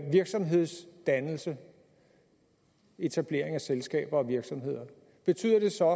virksomhedsdannelse etablering af selskaber og virksomheder betyder det så